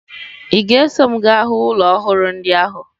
Ị ga-eso m gaa hụ ụlọ ọhụrụ ndị ahụ?